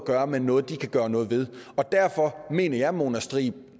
gøre med noget de kan gøre noget ved og derfor mener jeg at mona striib